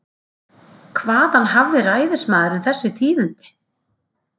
Hvaðan hafði ræðismaðurinn þessi tíðindi?